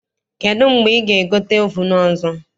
Kedụ mgbe ị ga-egote ovunu ọzọ?